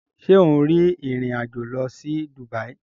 Ṣe o n rìn ìrìn àjò lọ sí Dubai?